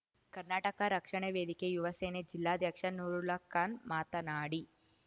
ಕರ್ನಾಟಕ ರಕ್ಷಣಾ ವೇದಿಕೆ ಯುವಸೇನೆ ಜಿಲ್ಲಾಧ್ಯಕ್ಷ ನೂರುಲ್ಲಾ ಖಾನ್‌ ಮಾತನಾಡಿ